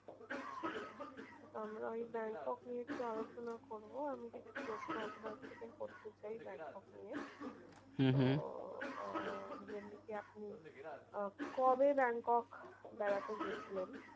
আমরা এই ব্যাংকক নিয়ে একটু আলোচনা করবো। আমি কিছু প্রশ্ন আপনার থেকে করতে চাই ব্যাংকক নিয়ে। আহ যেমনি কি আপনি আহ কবে ব্যাংকক বেড়াতে গিয়েছিলেন?